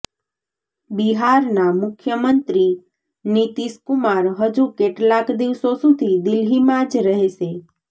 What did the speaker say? બિહારના મુખ્યમંત્રી નીતિશ કુમાર હજુ કેટલાક દિવસો સુધી દિલ્હીમાં જ રહેશે